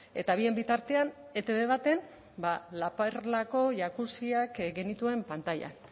eta bien bitartean etb baten la perlako jacuzziak genituen pantailan